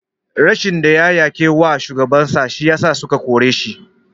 Rashin ɗaya yake wa shugaban sa shi yasa suka kore shi.